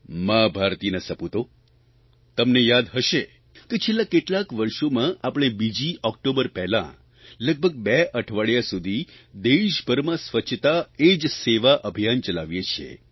મા ભારતીના સપૂતો તમને યાદ હશે કે છેલ્લાં કેટલાંક વર્ષોમાં આપણે બીજી ઓકટોબર પહેલાં લગભગ બે અઠવાડિયાં સુધી દેશભરમાં સ્વચ્છતા એ જ સેવા અભિયાન ચલાવીએ છીએ